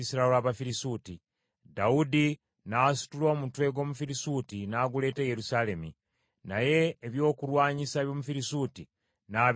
Dawudi n’asitula omutwe gw’Omufirisuuti n’aguleeta e Yerusaalemi, naye ebyokulwanyisa by’Omufirisuuti n’abiteeka mu weema ye.